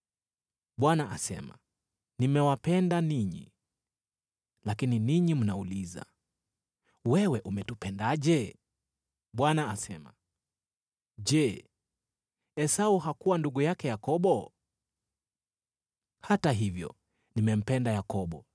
Bwana asema, “Nimewapenda ninyi.” “Lakini ninyi mnauliza, ‘Wewe umetupendaje?’ ” Bwana asema, “Je, Esau hakuwa ndugu yake Yakobo? Hata hivyo nimempenda Yakobo,